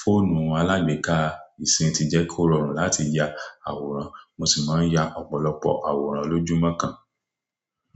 Fóònù alágbèéká ìsìn ti jẹ́ kó rọrùn láti ya àwòrán. Mo sì máa ń ya ọ̀pọ̀lọpọ̀ àwòrán lójúmọ́ kan.